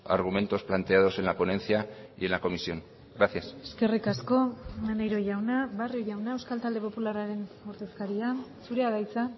argumentos planteados en la ponencia y en la comisión gracias eskerrik asko maneiro jauna barrio jauna euskal talde popularraren ordezkaria zurea da hitza